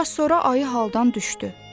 Bir az sonra ayı haldan düşdü.